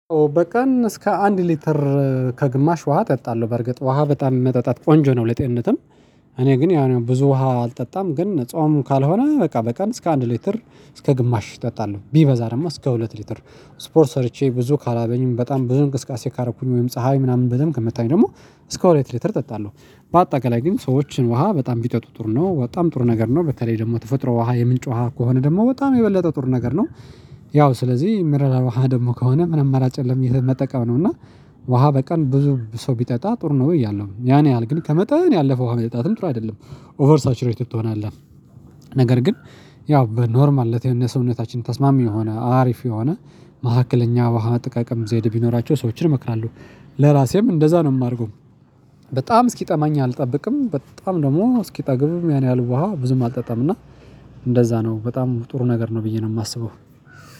በቀን እስከ አንድ ሊትር ከግማሽ ውሃ እጠጣለሁ በርግጥ ውሃ በጣም የመጠጣት ቆንጆ ነው። ለጤንነትም እኔ ግን ያው ብዙ ውሃ አልጠጣም ግን ጾም ካልሆነ በቃ በቀን እስከ አንድ ሊትር እስከ ግማሽ እጠጣለሁ ቢበዛ ደግሞ እስከ ሁለት ሊትር ስፖርት ሰርቼ ብዙ ካላበኝም በጣም ብዙ እንቅስቃሴ ካረኩኝ ወይም ፀሀይ ምናምን በደንብ ከምታኝ ደግሞ እስከ ሁለት ሊትር እጠጣለሁ። በአጠቃላይ ግን ሰዎችን ውሃ በጣም ቢጠጡ ጥሩ ነው በጣም ጥሩ ነገር ነው በተለይ ደግሞ ተፈጥሮ ውሃ የምንጭ ውሃ ከሆነ ደግሞ በጣም የበለጠ ጥር ነገር ነው። ያው ስለዚህ የሚረዳ ውሃ ደግሞ ከሆነ ምን አመራጭ የለም የት መጠቀም ነው። እና ውሃ በቀን ብዙ ሰው ቢጠጣ ጥሩ ነው ወይ ያለው ያን ያህል ግን ከመጠን ያለፈው ውሃ መጠጣትም ጥሩ አይደለም ኦቨር ሳቹሬትድ ትሆናለህ። ነገር ግን ያው በኖርማል ለት ለተነሳው ሰውነታችን ተስማሚ የሆነ አሪፍ የሆነ መካከለኛ ውሃ እጠቃቀም ዘይድ ቢኖራቸው ሰዎችን እመክራለሁ። ለራሴም እንደዛ ነው የማደርገው። በጣም እስኪጠማኝ አልጠብቅም በጣም ደግሞ እስኪጠግብም ያን ያህል ውሃ ብዙም አልጠጣም እና እንደዛ ነው በጣም ጥሩ ነገር ነው። ብዬ ነው የማስበው